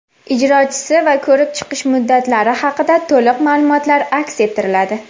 ijrochisi va ko‘rib chiqish muddatlari haqida to‘liq maʼlumotlar aks ettiriladi.